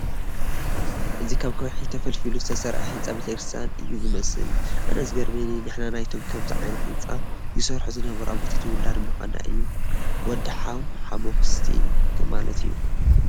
እዚ ካብ ከውሒ ተፈልፊሉ ዝተሰርሐ ህንፃ ቤተ ክርስቲያን እዩ ዝመስል፡፡ ኣነ ዝገርመኒ ንሕና ናይቶም ከምዚ ዓይነት ህንፃ ይሰርሑ ዝነበሩ ኣቦታት ውላድ ምዃንና እዩ፡፡ ወዲ ሓዉ ሓሞኽስቲ ከም ማለት እዩ፡፡